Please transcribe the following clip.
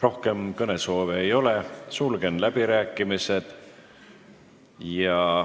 Rohkem kõnesoove ei ole, sulgen läbirääkimised.